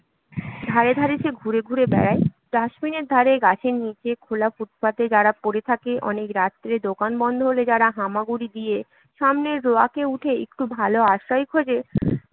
ধারে ধারে সে ঘুরে ঘুরে বেড়ায় ডাস্টবিনের ধারে, গাছের নিচে খোলা ফুটপাথে যারা পড়ে থাকে, অনেক রাত্রে দোকান বন্ধ হলে যারা হামাগুড়ি দিয়ে সামনের রোয়াকে উঠে একটু ভালো আশ্রয় খোঁজে